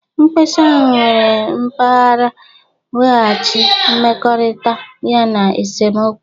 Mkpesa ahụ nyere mgbaghara, nweghachi mmekọrịta, yana esemokwu.